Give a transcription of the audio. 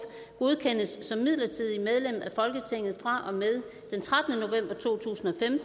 godkendes som midlertidigt medlem af folketinget fra og med